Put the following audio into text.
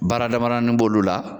Baara dama damanin b'olu la.